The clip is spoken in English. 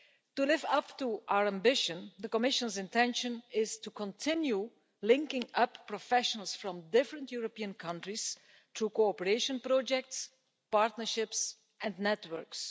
To live up to our ambition, the Commission's intention is to continue linking up professionals from different European countries through cooperation projects, partnerships and networks